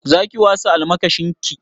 Za ki wasa almakashin ki?